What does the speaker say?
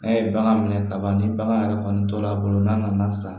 N'a ye bagan minɛ kaban ni bagan yɛrɛ kɔni tora a bolo n'a nana san